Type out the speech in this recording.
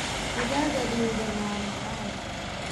Digaagga duban waa macaan.